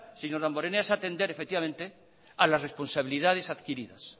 señor damborenea es atender efectivamente a las responsabilidades adquiridas